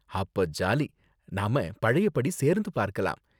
அப்ப ஜாலி, நாம பழைய படி சேர்ந்து பார்க்கலாம்.